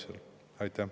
Aitäh!